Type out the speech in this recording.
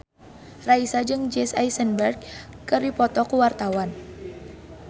Raisa jeung Jesse Eisenberg keur dipoto ku wartawan